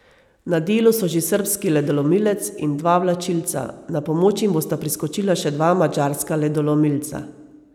Na delu so že srbski ledolomilec in dva vlačilca, na pomoč jim bosta priskočila še dva madžarska ledolomilca.